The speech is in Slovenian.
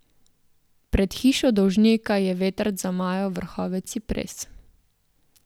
Pred hišo dolžnika je vetrc zamajal vrhove cipres.